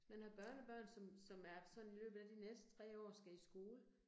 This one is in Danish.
Hvis man har børnebørn, som som er sådan i løbet af de næste 3 år skal i skole